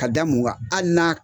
Ka da mun gan hali n'a